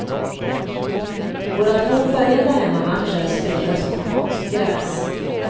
Våra två följande hemmamatcher spelades på konstgräs.